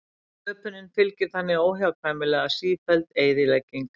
Sköpuninni fylgir þannig óhjákvæmilega sífelld eyðilegging.